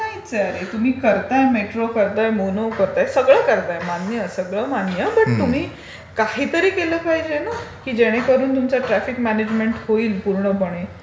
हा प्रकार काही नाहीच आहे अरे. तुम्ही करताय मेट्रो करताय, मोनो करताय, सगळं करताय. मानी आहे सगळं मानी बट तुम्ही काहीतरी केलं पाहिजे ना की जेणेकरून तुमचं ट्राफिक म्यानेजमेंट होईल पूर्णपणे.